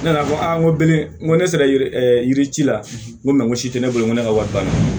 Ne nana fɔ aa n ko bilen n ko ne sera yirici la n ko ko si tɛ ne bolo n ko ne ka wari banna